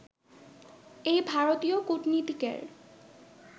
এই ভারতীয় কূটনীতিকের